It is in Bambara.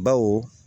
Baw